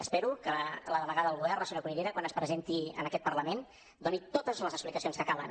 espero que la delegada del govern la senyora cunillera quan es presenti en aquest parlament doni totes les explicacions que calen